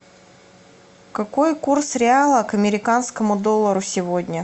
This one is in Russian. какой курс реала к американскому доллару сегодня